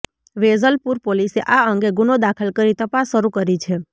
વેજલપુર પોલીસે આ અંગે ગુનો દાખલ કરી તપાસ શરૂ કરી છે